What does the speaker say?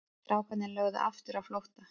Strákarnir lögðu aftur á flótta.